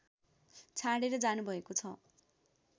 छाडेर जानुभएको छ